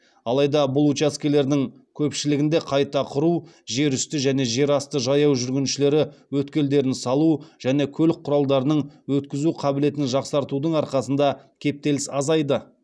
алайда бұл учаскелердің көпшілігінде қайта құру жер үсті және жерасты жаяу жүргіншілері өткелдерін салу және көлік құралдарының өткізу қабілетін жақсартудың арқасында кептеліс азайды